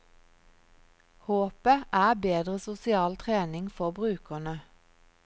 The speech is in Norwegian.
Håpet er bedre sosial trening for brukerne.